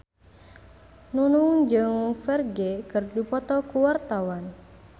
Nunung jeung Ferdge keur dipoto ku wartawan